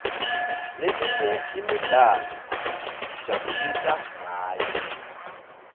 leminye imidlalo sitijabulisa ngayo